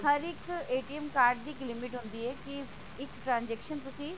ਹਰ ਇੱਕ card ਦੀ ਇੱਕ limit ਹੁੰਦੀ ਹੈ ਕਿ ਇੱਕ transaction ਤੁਸੀਂ